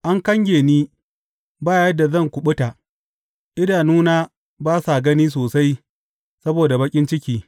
An kange ni, ba yadda zan kuɓuta idanuna ba sa gani sosai saboda baƙin ciki.